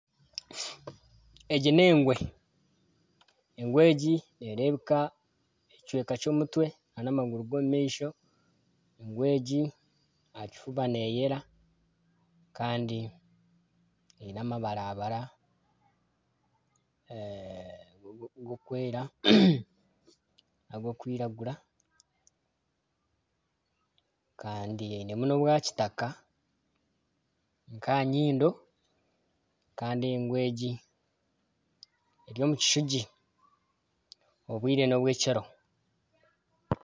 Egi n'engwe neereebeka ekicweka ky'omutwe, engwe egi aha kifuba neeyera kandi eine amabara bara, ag'okwera n'ag'okwiragura kandi einemu n'obwakitaka nk'aha nyindo kandi engwe egi eri omu kishugi, obwire n'obw'ekiro